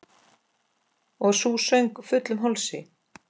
Og sú söng, fullum hálsi!